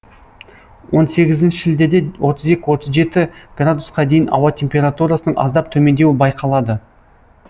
он сегізінші шілдеде отыз екі отыз жеті градусқа қа дейін аса температурасының аздап төмендеуі байқалады